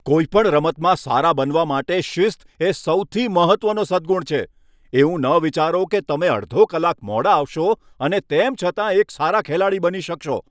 કોઈપણ રમતમાં સારા બનવા માટે શિસ્ત એ સૌથી મહત્ત્વનો સદ્ગુણ છે. એવું ન વિચારો કે તમે અડધો કલાક મોડા આવશો અને તેમ છતાં એક સારા ખેલાડી બની શકશો.